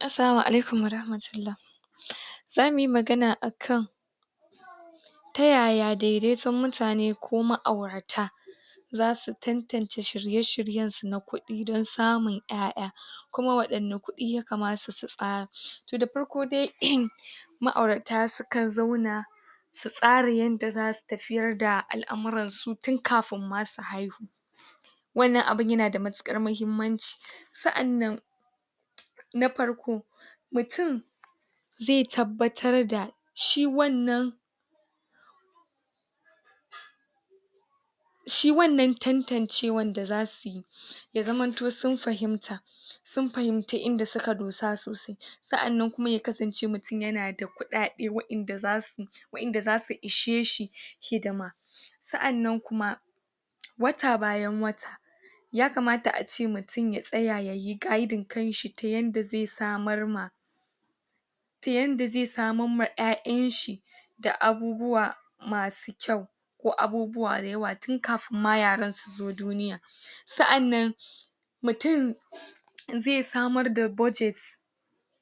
Assalamu alaikum wa rahmatullah. za muyi magana a kan ta yaya daidaiton mutane ko ma'aurata zasu tantance shirye-shiryen su na kuɗi don samun ƴaƴa, kuma waɗanna kuɗi ya kamata su tsara. Toh, da farko dai um ma'aurata su kan zauna su tsara yanda zasu tafiyar da al'amuran su tin kafun ma su haihu, wannan abun yana da matuƙar mahimmanci. Sa'annan na farko, mutun ze tabbatar da shi wannan shi wannan tantancewan da za suyi ya zamanto sun fahimta, sun fahimci inda suka dosa sosai. Sa'annan kuma ya kasance mutum yana da kuɗaɗe wa'inda zasu wa'inda zasu ishe shi hidima. Sa'annan kuma wata bayan wata ya kamata ace mutum ya tsaya yayi guiding kan shi ta yanda ze samar ma ta yanda ze samar ma ƴaƴan shi da abubuwa masu kyau, ko abubuwa da yawa tun kafin ma yaran suzo duniya. Sa'annan mutum ze samar da budget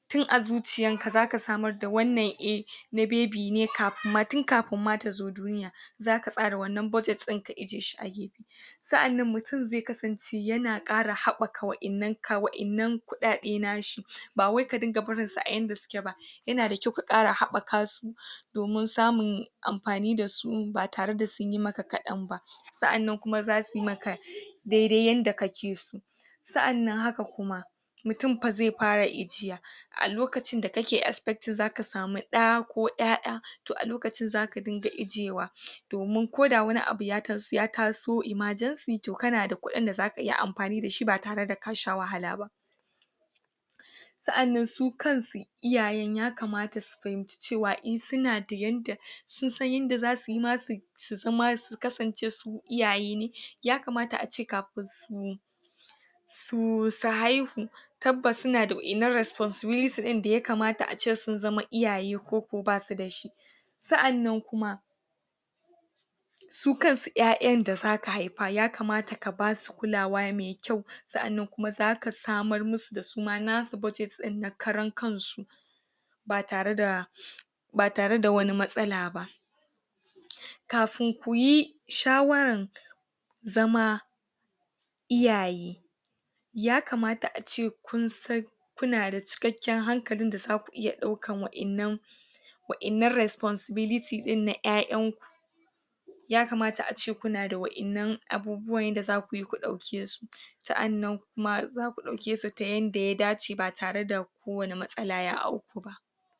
tun a zuciyan ka zaka samar da wannan eh, na baby kafun ma tin kafun ma ta zo duniya, zaka tsara wannan budget din ka i'je shi a gefe. Sa'annan mutun ze kasance yana ƙara haɓɓaka wa'innan ka wa'innan kuɗaɗe nashi, ba wai ka dinga barin su a yanda suke ba, yana da kyau ka ƙara haɓɓaka su domun samun amfani da su ba tara da sunyi maka kaɗan ba. Sa'annan kuma za suyi maka dai-dai yanda kake so. Sa'annan haka kuma mutum fa ze fara i'jiya a lokacin da kake expecting zaka samu ɗa ko ƴaƴa, toh a lokacin zaka dinga i'jewa. Domun ko da wani abu ya tas ya tas ya taso emergency toh kana da kuɗin da zaka iya amfani da shi ba tara da ka sha wahala ba. Sa'annan su kan su iyayan ya kamata su fahimci cewa in suna da yanda sun san yanda za suyi ma su su zama ma su kasance su iyaye ne, ya kamata ace kafin su su su haihu tabbas suna da wa'innan responsibility ɗin da ya kamata ace sun zama iyaye, koko basu dashi. Sa'annan kuma su kansu ƴaƴan da zaka haifa, ya kamata ka basu kulawa mai kyau, sa'annan kuma zaka samar musu da su ma nasu budget ɗin na karan kan su, ba tara da ba tara da wani matsala ba. Kafun kuyi shawaran zama iyaye, ya kamata ace kun san kuna da cikakken hankalin da zaku iya ɗaukan wa'innan wa'innan responsibility ɗin na ƴaƴan ku, ya kamata ace kuna da wa'innan abubuwan yanda za kuyi ku ɗauke su. Sa'annan kuma za ku ɗauke su ta yanda ya dace ba tara da ko wani matsala ya awku ba.